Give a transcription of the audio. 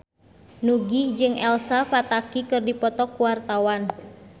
Nugie jeung Elsa Pataky keur dipoto ku wartawan